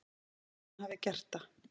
Nema hún hafi gert það.